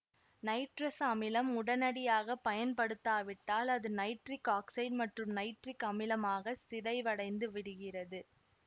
nitrous அமிலம் உடனடியாக பயன்படுத்தப்படாவிட்டால் அது நைட்ரிக் ஆக்சைடு மற்றும் நைட்ரிக் அமிலமாக சிதைவடைந்து விடுகிறது